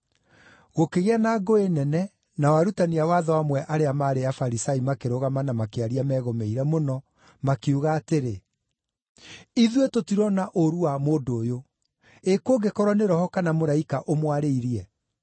Gũkĩgĩa na ngũĩ nene, nao arutani a watho amwe arĩa maarĩ Afarisai makĩrũgama na makĩaria megũmĩire mũno, makiuga atĩrĩ, “Ithuĩ tũtirona ũũru wa mũndũ ũyũ. Ĩ kũngĩkorwo nĩ roho kana mũraika ũmwarĩirie?”